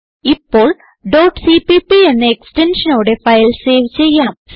ഇപ്പോൾ cpp എക്സ്റ്റൻഷനോടെ file save ചെയ്യാം